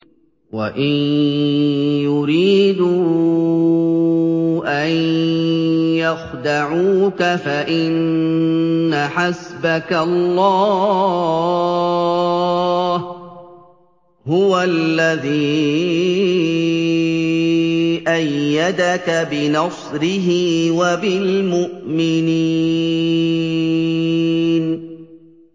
وَإِن يُرِيدُوا أَن يَخْدَعُوكَ فَإِنَّ حَسْبَكَ اللَّهُ ۚ هُوَ الَّذِي أَيَّدَكَ بِنَصْرِهِ وَبِالْمُؤْمِنِينَ